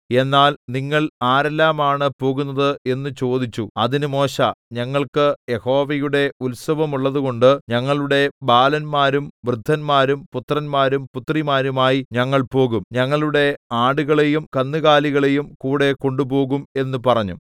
എന്നാൽ നിങ്ങൾ ആരെല്ലമാണ് പോകുന്നത് എന്ന് ചോദിച്ചു അതിന് മോശെ ഞങ്ങൾക്ക് യഹോവയുടെ ഉത്സവമുള്ളതുകൊണ്ട് ഞങ്ങളുടെ ബാലന്മാരും വൃദ്ധന്മാരും പുത്രന്മാരും പുത്രിമാരുമായി ഞങ്ങൾ പോകും ഞങ്ങളുടെ ആടുകളെയും കന്നുകാലികളെയും കൂടെ കൊണ്ടുപോകും എന്ന് പറഞ്ഞു